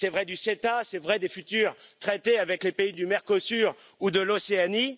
C'est vrai du CETA c'est vrai des futurs traités avec les pays du Mercosur ou de l'Océanie.